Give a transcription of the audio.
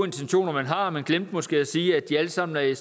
intentioner man har men glemte måske at sige at de alle sammen er i